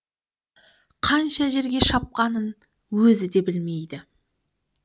қанша жерге шапқанын өзі де білмейді